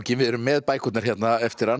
við erum með bækurnar hérna eftir hann